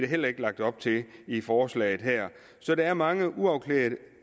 heller ikke lagt op til i forslaget her så der er mange uafklarede